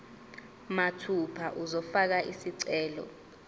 mathupha uzofaka isicelo